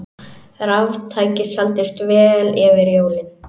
Raftæki seldust vel fyrir jólin